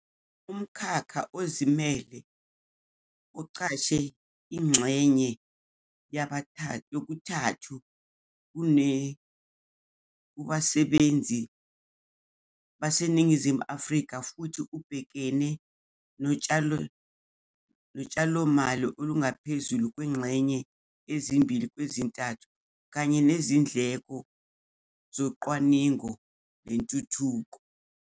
Umkhakha ozimele uqashe ingxenye yokuthathu kokune kubasebenzi baseNingizimu Afrika futhi ubhekene notshalomali olungaphezulu kwezingxenye ezimbili kwezintathu kanye nezindleko zocwaningo nentuthuko.